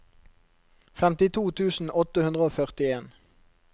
femtito tusen åtte hundre og førtien